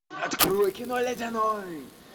открой кино ледяной